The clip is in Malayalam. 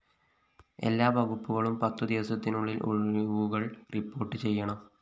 എല്ലാ വകുപ്പുകളും പത്തു ദിവസത്തിനുള്ളില്‍ ഒഴിവുകള്‍ റിപ്പോർട്ട്‌ ചെയ്യണം